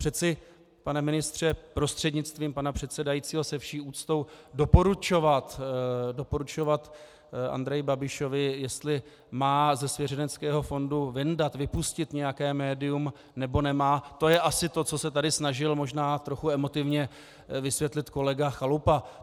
Přeci, pane ministře prostřednictvím pana předsedajícího, se vší úctou doporučovat Andreji Babišovi, jestli má ze svěřeneckého fondu vyndat, vypustit nějaké médium, nebo nemá, to je asi to, co se tady snažil možná trochu emotivně vysvětlit kolega Chalupa.